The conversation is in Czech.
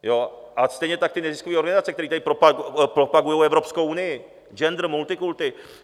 A stejně tak ty neziskové organizace, které tady propagují Evropskou unii, gender, multikulti.